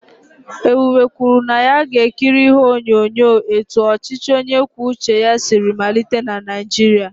Ebube kwuru na ya ga-ekiri ihe onyonyo etu ọchịchị onye kwuo uche ya siri malite na Naịjirịa.